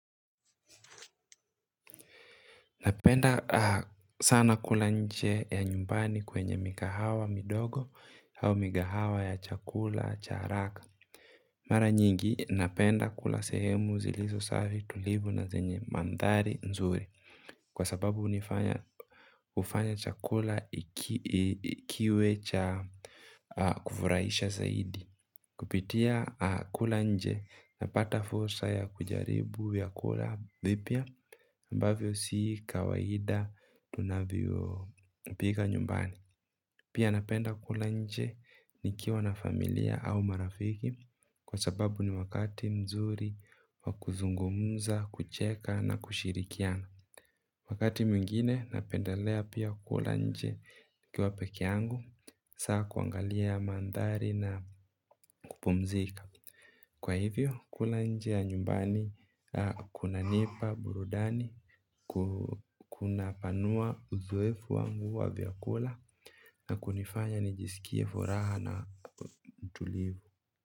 Napenda sana kula nje ya nyumbani kwenye mikahawa midogo hau mikahawa ya chakula cha haraka. Mara nyingi napenda kula sehemu zilizo savi tulivu na zenye mandhari nzuri. Kwa sababu hunifanya chakula kiwe cha kufurahisha zaidi. Kupitia kula nje napata fursa ya kujaribu vyakula vipya ambavyo si kawaida tunavyopika nyumbani. Pia napenda kula nje nikiwa na familia au marafiki kwa sababu ni wakati mzuri wa kuzungumza, kucheka na kushirikiana. Wakati mwingine napendalea pia kula nje nikiwa pekee yangu, hasaa kuangalia mandhari na kupumzika. Kwa hivyo kula nje ya nyumbani kunanipa burudani, kunapanua uzoefu wangu wa vyakula, na kunifanya nijisikie furaha na mtulivu.